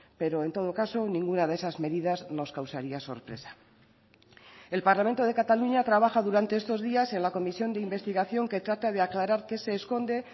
pero en todo caso ninguna de esas medidas nos causaría sorpresa el parlamento de cataluña trabaja durante estos días en la comisión de investigación que trata de aclarar qué se esconde